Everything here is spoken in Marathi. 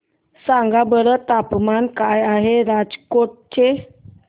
सांगा बरं तापमान काय आहे राजकोट चे